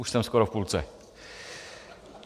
Už jsem skoro v půlce.